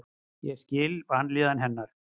Ég skil vanlíðan hennar.